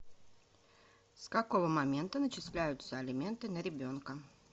с какого момента начисляются алименты на ребенка